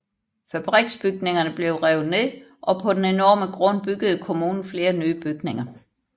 Fabriksbygningerne blev revet ned og på den enorme grund byggede kommunen flere nye bygninger